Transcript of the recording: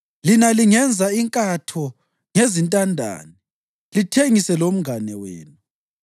Lina lingenza inkatho ngezintandane, lithengise lomngane wenu.